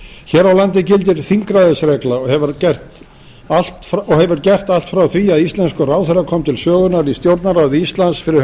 hér á landi gildir þingræðisregla og hefur gert allt frá því að íslenskur ráðherra kom til sögunnar í stjórnarráði íslands fyrir